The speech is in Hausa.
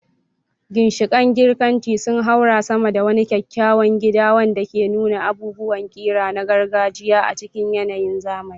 Ginshiƙan Girkanci sun haura sama da wani kyakkyawan gida wanda ke nuna abubuwan ƙira na gargajiya a cikin yanayin zamani.